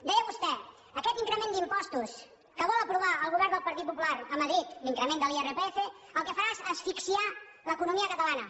deia vostè aquest increment d’impostos que vol aprovar el govern del partit popular a madrid l’increment de l’irpf el que farà és asfixiar l’economia catalana